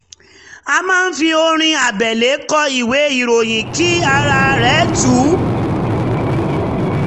ó máa ń fi orin abẹ́lé kọ ìwé ìròyìn kí ara rẹ̀ tú